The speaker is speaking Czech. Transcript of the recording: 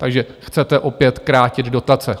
Takže chcete opět krátit dotace.